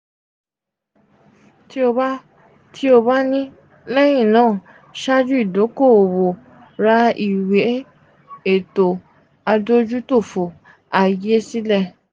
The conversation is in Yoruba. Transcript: ti o ba ti o ba ni lẹhinna ṣaaju idoko-owo ra iwe eto adojutofo aye sile.